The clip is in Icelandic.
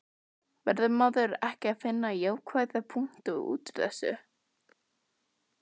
Verður maður ekki að finna jákvæða punkta útúr þessu?